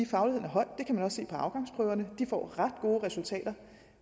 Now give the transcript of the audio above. fagligheden høj det kan man også se på afgangsprøverne de får ret gode resultater